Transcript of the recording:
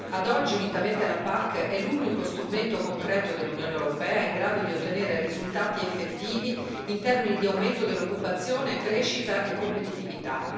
Ad oggi, unitamente alla PAC, è l'unico strumento concreto dell'Unione europea in grado di ottenere risultati effettivi in termini di aumento dell'occupazione, crescita e competitività.